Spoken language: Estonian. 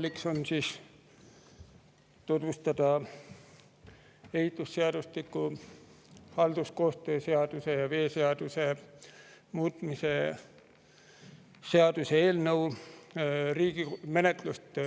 Minu roll on tutvustada ehitusseadustiku, halduskoostöö seaduse ja veeseaduse muutmise seaduse eelnõu menetlust